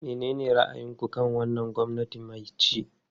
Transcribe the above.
Menene ra'ayinku kan wannan gwamnati mai ci?